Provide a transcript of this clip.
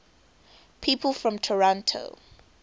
people from toronto